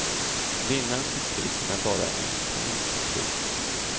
Vinnaren tog priset med bara en poäng. punkt